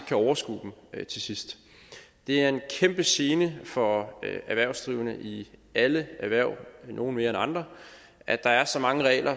kan overskue dem til sidst det er en kæmpe gene for erhvervsdrivende i alle erhverv nogle mere end andre at der er så mange regler